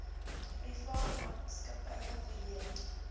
privaat maatskappye verleen